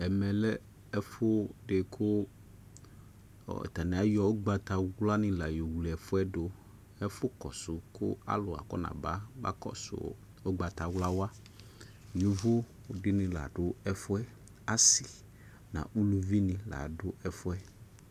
ɛmɛ lɛ ɛfo de ko atane ayɔ ugbatawla ne la yɔ wle ɛfuɛ doƐfo kɔso ko alu akɔna ba kɔso ugbatawlà waYovo de ne la do ɛfuɛAse no aluvi ne la do ɛfuɛ